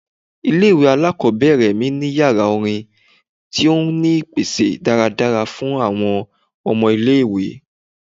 Ile-iwe alakọbẹrẹ mi ni yara orin ti o ni ipese daradara fun awọn ọmọ ile-iwe